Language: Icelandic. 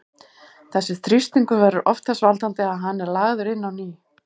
Þessi þrýstingur verður oft þess valdandi að hann er lagður inn á ný.